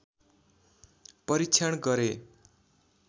परीक्षण गरे